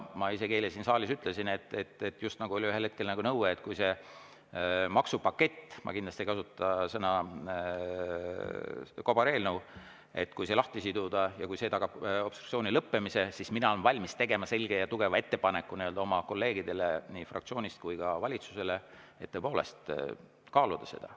Ma isegi eile siin saalis ütlesin, et – just nagu oli ühel hetkel nõue, et see maksupakett, ma kindlasti ei kasutaks sõna "kobareelnõu", lahti siduda – kui see tagab obstruktsiooni lõppemise, siis mina olen valmis tegema selge ja tugeva ettepaneku nii oma kolleegidele fraktsioonis kui ka valitsusele, et tõepoolest kaaluda seda.